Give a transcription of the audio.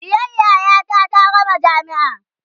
ɗiyar yayata ta gama jamia